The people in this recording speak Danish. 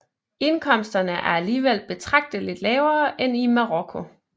Indkomsterne er alligevel betragteligt lavere end i Marokko